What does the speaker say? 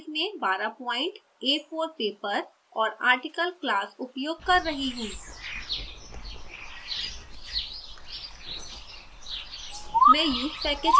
मैं font size में 12 point a4 paper और article class उपयोग कर रही हूँ